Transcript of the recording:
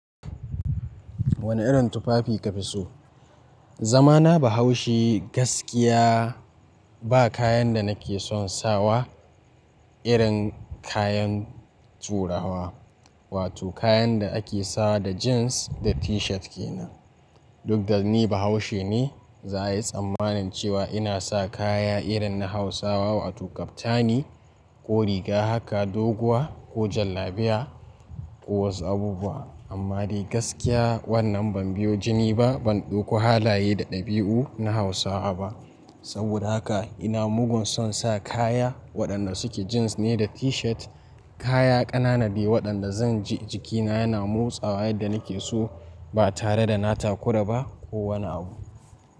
Wane irin tufafi ka fi so? Zamana Bahaushe gaskiya ba kayan da nake son sawa irin kayan turawa, wato kayan da ake sawa da jeans da t-shirt ke nan. Duk da ni Bahaushe ne, za a yi tsammanin cewa ina sa kaya irin na Hausawa wato kaftani ko riga haka doguwa ko jalabiya ko wasu abubuwa. Amma dai gaskiya wannan ban biyo jini ba, ban ɗauko halaye da ɗabi'u na Hausawa ba. Saboda haka ina mugun son sa kaya waɗanda suke jeans ne da t-shirt, kaya ƙananade waɗanda zan ji jikina yana motsawa yadda nake so ba tare da na takura ba ko wani abu.